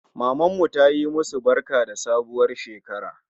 Mamanmu tayi musu barka da sabuwar shekara